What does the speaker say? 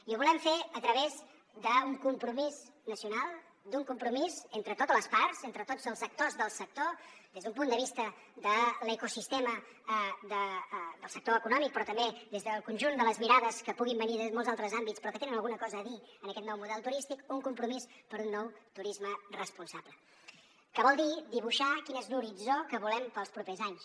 i ho volem fer a través d’un compromís nacional d’un compromís entre totes les parts entre tots els actors del sector des d’un punt de vista de l’ecosistema del sector econòmic però també des del conjunt de les mirades que puguin venir des de molts altres àmbits però que tenen alguna cosa a dir en aquest nou model turístic un compromís per un nou turisme responsable que vol dir dibuixar quin és l’horitzó que volem per als propers anys